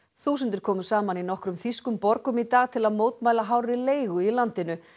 þúsundir komu saman í nokkrum þýskum borgum í dag til að mótmæla háu leiguverði í landinu